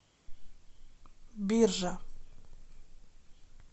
биржа